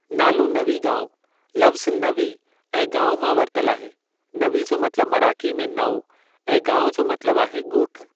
नालो नवीगावं लफ़्ज़ु नवी ऐं गावं मां वरतल आहे नवी जो मतलबु मराठी में नओं ऐं गावं जो मतलबु आहे ॻोठु।